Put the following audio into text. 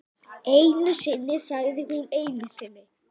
En hvað telst vera viðunandi viðbótarfjárveiting fyrir spítalann?